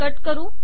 cut करू